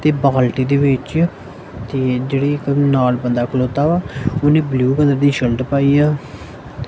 ਤੇ ਬਾਲਟੀ ਦੇ ਵਿੱਚ ਤੇ ਜਿਹੜੀ ਇੱਕ ਨਾਲ ਬੰਦਾ ਖਲੌਤਾ ਵਾ ਉਹਨੇ ਬਲੂ ਕਲਰ ਦੀ ਸ਼ਰਟ ਪਾਈ ਆ।